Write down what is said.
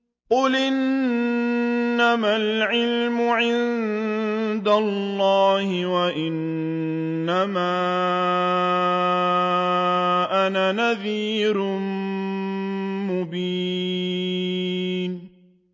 قُلْ إِنَّمَا الْعِلْمُ عِندَ اللَّهِ وَإِنَّمَا أَنَا نَذِيرٌ مُّبِينٌ